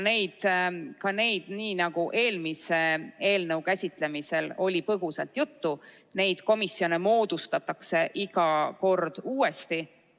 Nii nagu eelmise eelnõu käsitlemisel põgusalt juttu oli, neid komisjone moodustatakse iga kord uuesti.